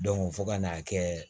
fo ka n'a kɛ